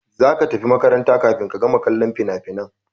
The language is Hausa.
Za ka tafi makaranta kafin ka gama kallon finafinan!